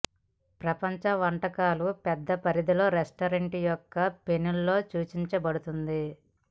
ప్రపంచ వంటకాలు పెద్ద పరిధి రెస్టారెంట్ యొక్క మెను లో సూచించబడుతుంది